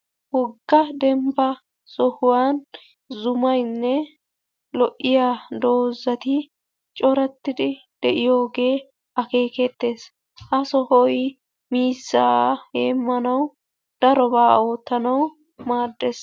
Wogga dembba sohuwan zumaynne lo"iyaa dozatti corattidi de'yogge akekettes. Ha sohoy miizaa heemanawu darobaa oottanawu maaddes.